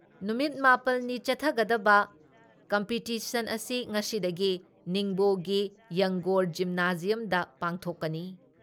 ꯅꯨꯃꯤꯠ ꯃꯥꯄꯜꯅꯤ ꯆꯠꯊꯒꯗꯕ ꯀꯝꯄꯤꯇꯤꯁꯟ ꯑꯁꯤ ꯉꯁꯤꯗꯒꯤ ꯅꯤꯡꯕꯣꯒꯤ ꯌꯪꯒꯣꯔ ꯖꯤꯝꯅꯥꯖꯤꯌꯝꯗ ꯄꯥꯡꯊꯣꯛꯀꯅꯤ ꯫